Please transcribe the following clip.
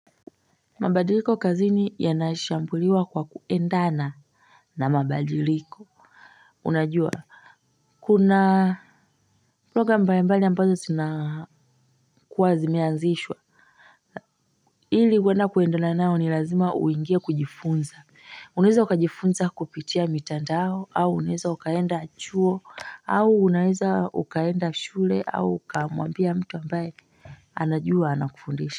Mabadiliko kazini yanashambuliwa kwa kuendana na mabadiliko unajua kuna program mbalimbali ambazo zinakuwa zimeazishwa ili huenda kuendana nayo ni lazima uingie kujifunza unaweza ukajifunza kupitia mitandao au unaweza ukaenda chuo au unaweza ukaenda shule au ukamwambia mtu ambaye anajua anakufundisha.